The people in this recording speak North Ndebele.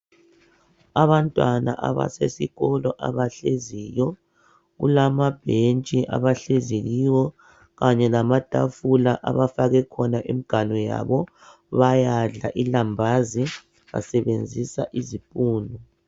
Abantwana abasesikolo abahleziyo kulamabhentshi abahlezi kiwo kanye lamatafula abafake khona imiganu yabo bayadla ilambazi basebenzisa izipunu.